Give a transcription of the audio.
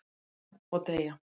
"""Já, og deyja"""